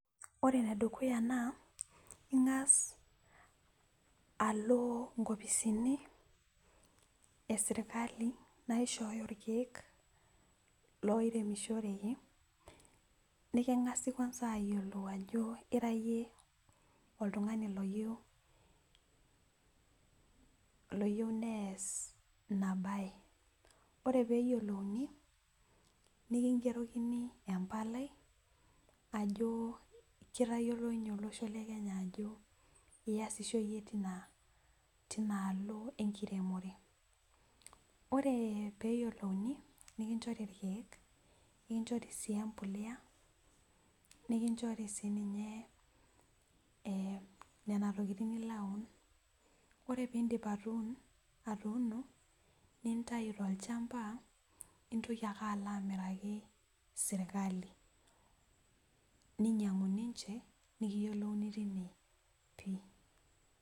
Ore enedukuya naa ingas alo nkopisini esirkali nagira aishoo irkeek loiremishoreki ,nekingasi ayiolou ajo ira yie oltungani oyieu nees ina bae ,ore pee eyiolouni nikingerokini empalai ajo kitayiolo olosho lekenya ajo ngiro yie aasisho tinaalo enkiremore .ore pee yoliuni nikinchori irkeek, nikinchori empolea ,nikinchori siininye nena tokiting nilo aun. ore pee indip atuno nintayu tolchampa nintoki ake alo amiraki sirkali ninyangu ninche nikiyiolouni tine pi.